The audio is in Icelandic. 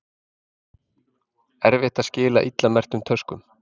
Erfitt að skila illa merktum töskum